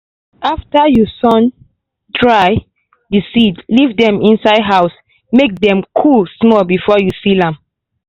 after you sun- dry the seeds leave dem inside house make dem cool small before you seal am.